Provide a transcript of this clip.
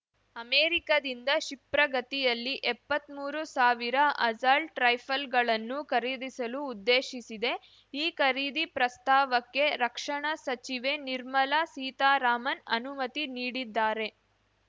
ಅಮೆರಿಕದಿಂದ ಕ್ಷಿಪ್ರಗತಿಯಲ್ಲಿ ಎಪ್ಪತ್ಮೂರು ಸಾವಿರ ಅಸಲ್ಟ್ ರೈಫಲ್‌ಗಳನ್ನು ಖರೀದಿಸಲು ಉದ್ದೇಶಿಸಿದೆ ಈ ಖರೀದಿ ಪ್ರಸ್ತಾವಕ್ಕೆ ರಕ್ಷಣಾ ಸಚಿವೆ ನಿರ್ಮಲಾ ಸೀತಾರಾಮನ್‌ ಅನುಮತಿ ನೀಡಿದ್ದಾರೆ